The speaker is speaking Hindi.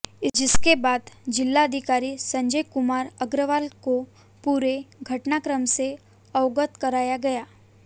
जिसके बाद जिलाधिकारी संजय कुमार अग्रवाल को पूरे घटनाक्रम से अवगत कराया गया